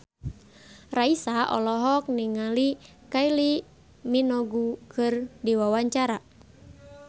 Raisa olohok ningali Kylie Minogue keur diwawancara